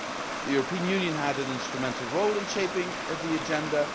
The European Union had an instrumental role in shaping the agenda